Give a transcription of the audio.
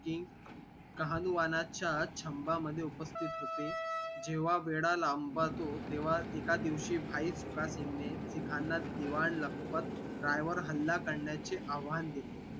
ची कहाणी वालाच्या चामबामध्ये उपस्तित होते जेव्हा वेढा लांबला तो तेव्हा एका दिवशी भाई सुखसिंहने ते दिवानला हल्ला करण्याचे आवाहन दिले.